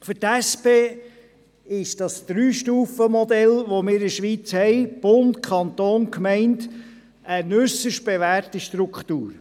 Für die SP-JUSOPSA-Fraktion ist das Dreistufenmodell, so wie wir es in der Schweiz kennen mit Bund, Kanton und Gemeinden eine äusserst bewährte Struktur.